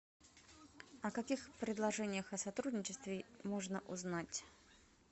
о каких предложениях о сотрудничестве можно узнать